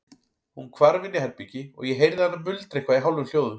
Hún hvarf inn í herbergi og ég heyrði hana muldra eitthvað í hálfum hljóðum.